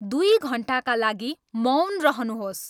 दुई घन्टाका लागि मौन रहनुहोस्